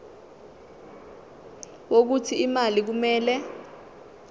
wokuthi imali kumele